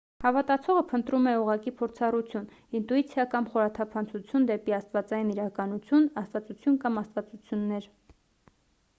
հավատացողը փնտրում է ուղղակի փորձառություն ինտուիցիա կամ խորաթափանցություն դեպի աստվածային իրականություն/աստվածություն կամ աստվածություններ: